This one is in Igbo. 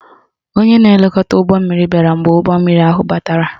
Onye na-elekọta ụgbọmmiri bịara mgbe ụgbọmmiri ahụ batara